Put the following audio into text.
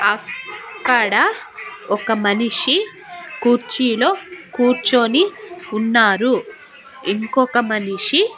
అక్కడ ఒక మనిషి కుర్చీలో కూర్చొని ఉన్నారు ఇంకొక మనిషి--